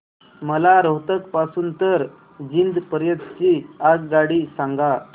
मला रोहतक पासून तर जिंद पर्यंत ची आगगाडी सांगा